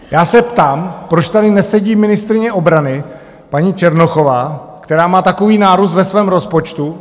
Já se ptám, proč tady nesedí ministryně obrany paní Černochová, která má takový nárůst ve svém rozpočtu?